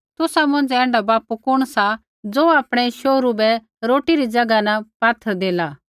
तुसा मौंझ़ै ऐण्ढा बापू कुण सा ज़ो आपणै शोहरू बै रोटी री ज़ैगा न पात्थर देला